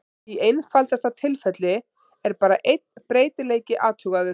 Í einfaldasta tilfelli er bara einn breytileiki athugaður.